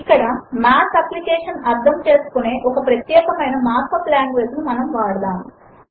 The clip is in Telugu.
ఇక్కడ మాత్ అప్లికేషన్ అర్ధము చేసుకునే ఒక ప్రత్యేకమైన మార్క్ యూపీ లాంగ్వేజ్ ను మనము వాడదాము